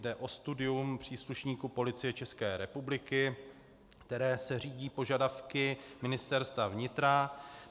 Jde o studium příslušníků Policie České republiky, které se řídí požadavky Ministerstva vnitra.